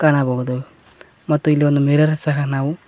ಕಾಣಬಹುದಾಗಿದೆ ಮತ್ತು ಇಲ್ಲಿ ಒಂದು ಮಿರರ್ ಸಹ ನಾವು--